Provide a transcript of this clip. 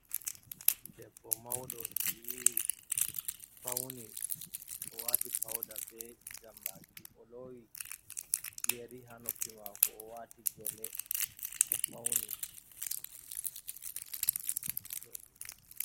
Debbo mauɗo yiwi fauni o wati pauda be jammaki, o lowi yeri ha noppi mako owati gele o fauni.